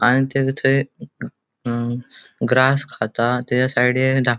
आणि तेने तै अ ग्रास खाता तेजा साइडीन दा --